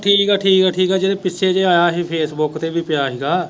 ਠੀਕ ਆ ਠੀਕ ਆ ਠੀਕ ਆ ਜਿਹੜੇ ਪਿੱਛੇ ਜੇ ਆਇਆ ਹੀ ਫੇਸਬੁੱਕ ਤੇ ਵੀ ਪਿਆ ਹੀ ਗਾ।